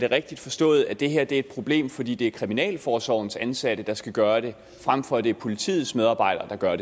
rigtigt forstået at det her er et problem fordi det er kriminalforsorgens ansatte der skal gøre det frem for at det er politiets medarbejdere der gør